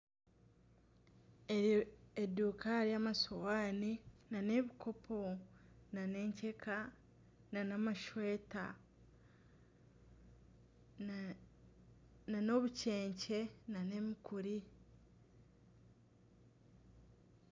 Eduuka ya masuwani na n'ebikopo na n'enkyeka n'amashweta na n'obucence na n'emikuri.